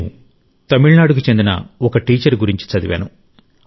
నేను తమిళనాడుకు చెందిన ఒక టీచర్ గురించి చదివాను